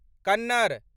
Kannada